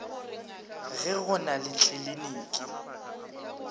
ge go na le tliliniki